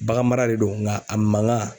Bagan mara de do nka a mankan